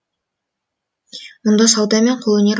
мұнда сауда мен қолөнер ғылым